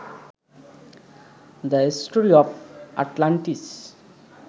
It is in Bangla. the story of Atlantis